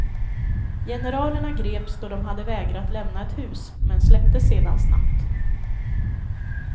Generalerna greps då de hade vägrat lämna ett hus, men släpptes sedan snabbt.